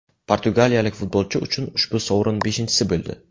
Portugaliyalik futbolchi uchun ushbu sovrin beshinchisi bo‘ldi.